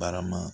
Barama